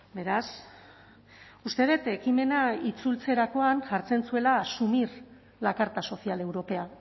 beraz uste dut ekimena itzultzerakoan jartzen zuela asumir la carta social europea